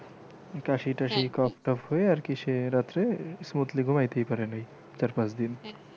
কাশি টাশি কফ টফ হয়ে আরকি সে রাত্রে smoothly ঘুমাইতেই পারে নাই চার পাঁচ দিন